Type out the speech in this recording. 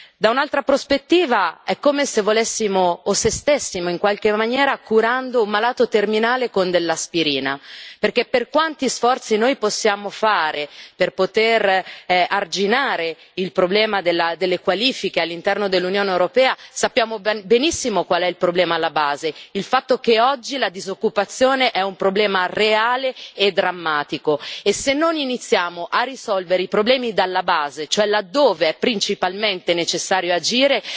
Da un'altra prospettiva è come se volessimo, o se stessimo in qualche maniera, curando un malato terminale con dell'aspirina perché, per quanti sforzi noi possiamo fare per poter arginare il problema delle qualifiche all'interno dell'Unione europea, sappiamo benissimo qual è il problema alla base, il fatto che oggi la disoccupazione è un problema reale e drammatico e se non iniziamo a risolvere i problemi dalla base, cioè laddove è principalmente necessario agire,